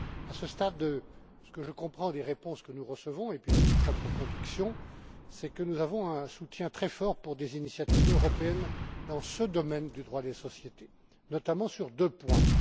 À ce stade, ce que je comprends des réponses que nous recevons, et puis de mes propres convictions, c'est que nous avons un soutien très fort pour des initiatives européennes dans ce domaine du droit des sociétés, notamment sur deux points.